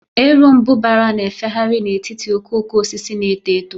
Erombubara na-efegharị n'etiti okooko osisi na-eto eto.